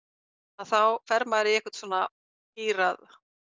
þá fer maður í einhvern svona gír að